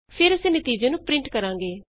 ਫੇਰ ਅਸੀਂ ਨਤੀਜੇ ਨੂੰ ਪਰਿੰਟ ਕਰਾਂਗੇ